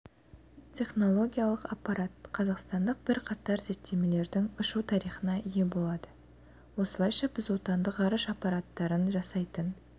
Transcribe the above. технологиялық аппарат қазақстандық бірқатар зерттемелердің ұшу тарихына ие болады осылайша біз отандық ғарыш аппараттарын жасақтайтын